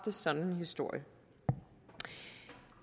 en sådan historie